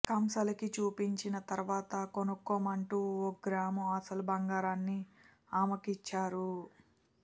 కంసాలికి చూపించిన తరువాత కొనుక్కోమంటూ ఓ గ్రాము అసలు బంగారాన్ని ఆమెకు ఇచ్చారు